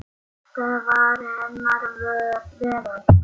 Þetta var hennar veröld.